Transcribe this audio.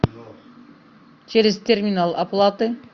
через терминал оплаты